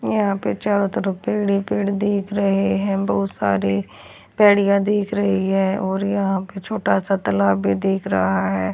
यहां पर चारों तरफ पेड़ ही पेड़ दिख रहे हैं बहुत सारे पेढ़ियां दिख रही है और यहां पे छोटा सा तलाब भी दिख रहा है।